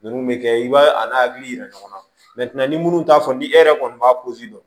Ninnu bɛ kɛ i b'a a n'a hakili yira ɲɔgɔn na ni minnu t'a fɔ ni e yɛrɛ kɔni b'a dɔn